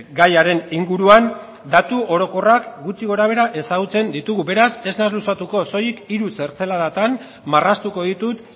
gaiaren inguruan datu orokorrak gutxi gorabehera ezagutzen ditugu beraz ez naiz luzatuko soilik hiru zertzeladatan marraztuko ditut